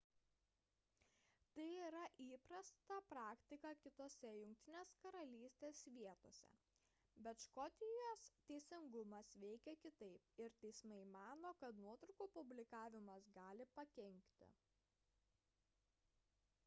tai yra įprasta praktika kitose jk vietose bet škotijos teisingumas veikia kitaip ir teismai mano kad nuotraukų publikavimas gali pakenkti